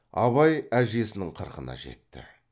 абай әжесінің қырқына жетті